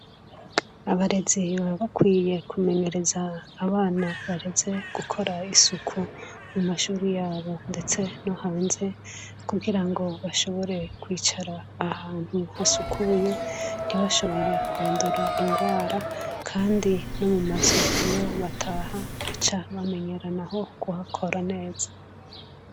abarezi baba bakwiye kumenyereza abana bareze gukora isuku mu mashuri yabo ndetse no hanze kugira ngo bashobore kwicara ahantu hasukuye nti bashobore kwandura indwara kandi no mu mazu yo bataha baca bamenyeranaho kuhakora neza